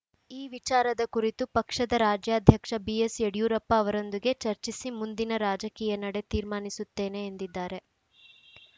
ಈ ವಿಚಾರದ ಕುರಿತು ಪಕ್ಷದ ರಾಜ್ಯಾಧ್ಯಕ್ಷ ಬಿಎಸ್‌ಯಡಿಯೂರಪ್ಪ ಅವರೊಂದಿಗೆ ಚರ್ಚಿಸಿ ಮುಂದಿನ ರಾಜಕೀಯ ನಡೆ ತೀರ್ಮಾನಿಸುತ್ತೇನೆ ಎಂದಿದ್ದಾರೆ